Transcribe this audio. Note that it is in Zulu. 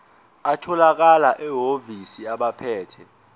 atholakala emahhovisi abaphethe